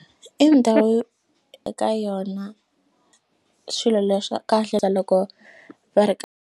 I ndhawu yo eka yona swilo leswa kahle loko va ri .